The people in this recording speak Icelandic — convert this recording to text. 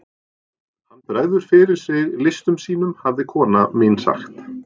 Hann bregður fyrir sig listum sínum hafði kona mín sagt.